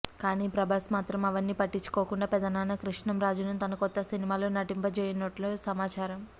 కానీ ప్రభాస్ మాత్రం అవన్ని పట్టించుకోకుండా పెదనాన్న కృష్ణంరాజును తన కొత్త సినిమాలో నటింపచేయనున్నట్టు సమాచారం